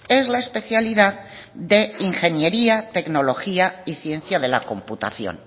es la especialidad de ingeniería tecnología y ciencia de la computación